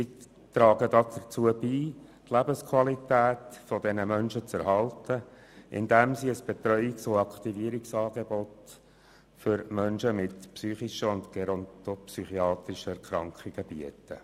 Sie tragen dazu bei, die Lebensqualität dieser Menschen zu erhalten, indem sie ein Betreuungs- und Aktivierungsangebot für Menschen mit psychischen und gerontopsychiatrischen Erkrankungen bieten.